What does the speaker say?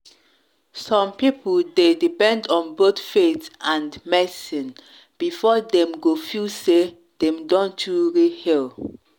some people dey depend on both faith and medicine before dem go feel say dem don truly heal.